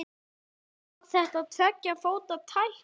Var þetta tveggja fóta tækling?